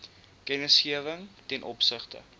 kennisgewing ten opsigte